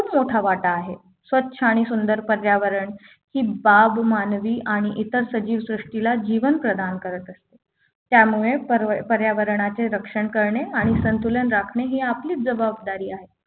मोठा वाटा आहे स्वच्छ आणि सुंदर पर्यावरण ही बाब मानवी आणि इतर सजीव सृष्टीला जीवन प्रधान करत असते त्यामुळे पर्यावरणाचे रक्षण करणे आणि संतुलन राखणे हे आपली जबाबदारी आहे